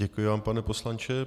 Děkuji vám, pane poslanče.